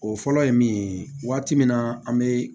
O fɔlɔ ye min ye waati min na an bɛ